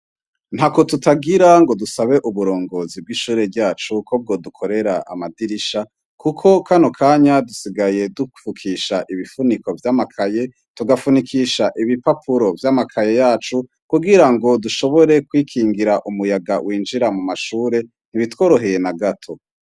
Ntako tutagira ngo dusabe uburongozi bw'ishure ryacu ko bwodukorera amadirisha, kuko kano kanya dusigaye dufukisha ibifuniko vy'amakaye, tugafunikisha ibipapuro vy'amakaye yacu, kugira dushobore kwikingira umuyaga winjira mw'ishure. Ntibitworoheye na gato.